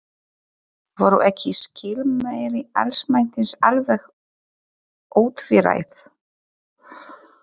Voru ekki skilmæli almættisins alveg ótvíræð?